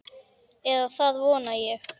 Eða það vona ég,